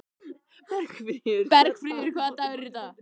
Bergfríður, hvaða dagur er í dag?